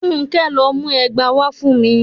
Fúnké! lọ mú ẹgba wá fún mi.